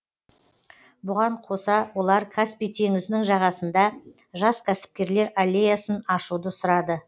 бұған қоса олар каспий теңізінің жағасында жас кәсіпкерлер аллеясын ашуды сұрады